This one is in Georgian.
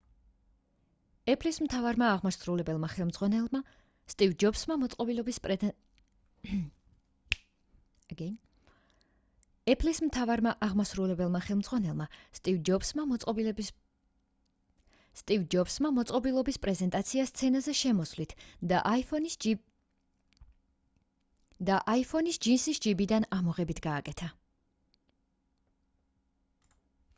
apple-ის მთავარმა აღმასრულებელმა ხელმძღვანელმა სტივ ჯობსმა მოწყობილობის პრეზენტაცია სცენაზე შემოსვლით და iphone-ის ჯინსის ჯიბიდან ამოღებით გააკეთა